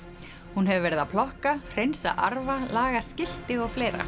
hún hefur verið að plokka hreinsa arfa laga skilti og fleira